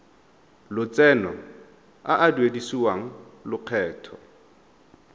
lotseno a a duedisiwang lokgetho